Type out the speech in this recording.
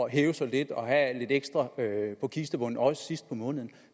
hæve sig lidt og have lidt ekstra på kistebunden også sidst på måneden